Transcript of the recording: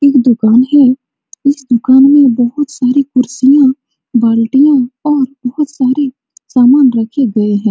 एक दुकान है | इस दुकान में बहुत सारे कुर्सियां बाल्टियां और बहुत सारे सामान रखे गए हैं।